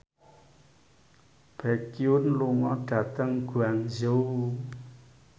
Baekhyun lunga dhateng Guangzhou